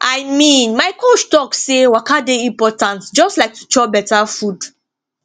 i mean my coach talk say waka dey important just like to chop better food